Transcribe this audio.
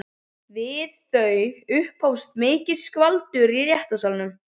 Við þau upphófst mikið skvaldur í réttarsalnum.